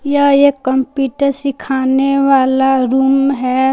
यह एक कंप्यूटर सीखाने वाला रूम है।